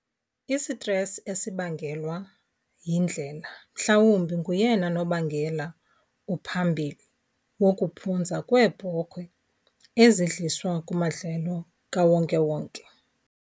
Isitresi esibangelwa yindlela mhlawumbi nguyena nobangela uphambili wokuphunza kweebhokhwe ezidliswa kumadlelo kawonkewonke.